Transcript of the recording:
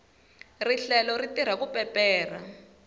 rihlelo ri tirha ku peperha